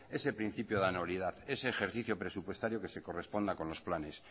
ese principio de anualidad ese ejercicio presupuestario que se corresponda con los planes